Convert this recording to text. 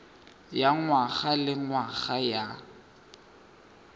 ya ngwaga le ngwaga ya